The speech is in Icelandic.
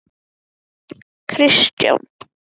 Þessir atburðir urðu kveikjan að ritun Flóttans.